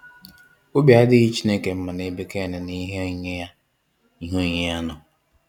Obi adịghị Chineke mma nebe Cain na ihe onyinye ya ihe onyinye ya nọ.